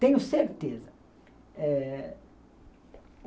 Tenho certeza. Eh